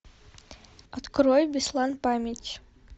открой беслан память